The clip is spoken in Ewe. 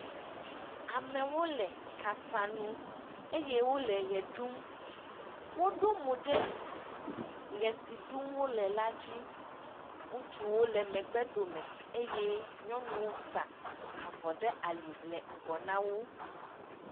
amewo le kasa nu eye wóle ɣe ɖum wó ɖó mò ɖe ɣe si ɖum wóle la dzi ŋutsuwo lɛ megbe dome eye nyɔnuwo sa avɔ ɖe ali le ŋgɔ nawo